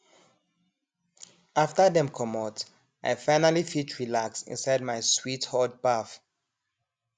after dem comot i finally fit relax inside my sweet hot baff